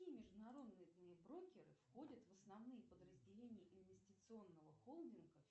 какие международные брокеры входят в основные подразделения инвестиционного холдинга